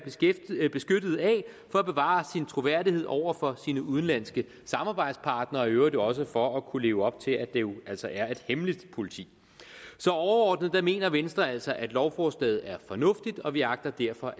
beskyttet af for at bevare sin troværdighed over for sine udenlandske samarbejdspartnere i øvrigt også for at kunne leve op til at det jo altså er et hemmeligt politi så overordnet mener venstre altså at lovforslaget er fornuftigt og vi agter derfor